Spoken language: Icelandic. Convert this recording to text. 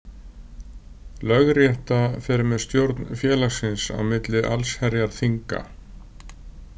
Lögrétta fer með stjórn félagsins á milli Allsherjarþinga.